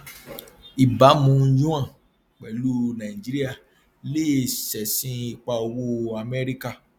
ìbámu yuan pẹlú nàìjíríà lè ṣẹsìn ipa owó amẹríkà